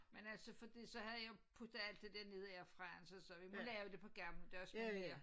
Men altså fordi så havde jeg puttet alt det dér ned i airfryeren så så vi må lave det på gammeldags manér